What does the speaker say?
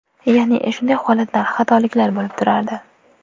Ya’ni, shunday holatlar, xatoliklar bo‘lib turardi.